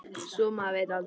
Svo maður veit aldrei.